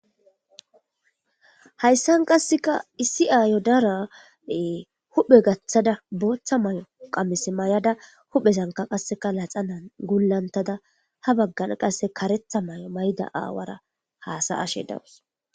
Hayisan qaseka issi ayo de'ara huphe gathada botha mayo qamise mayada ba huphe dadetada woy dadada ha bagara qaseka karetha Mayo ma'di awara hasa'ashe de'awus